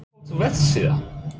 Uppáhalds vefsíða?